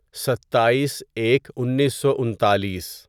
ستائیس ایک انیسو انتالیس